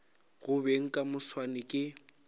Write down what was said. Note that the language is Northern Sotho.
go beng ka moswane ke